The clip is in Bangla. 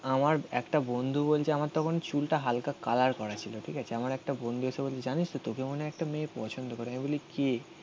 আমার একটা বন্ধু বলছে আমার তখন চুলটা হালকা আলার করা ছিল. ঠিক আছে. আমার একটা বন্ধু এসে বলল জানিস তোকে মনে হয় একটা মেয়ে পছন্দ করে. আমি বলি কে?